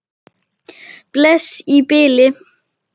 Bless í bili.